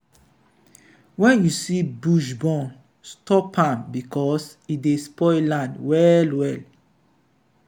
when you see bush burn stop am because e dey spoil land well well.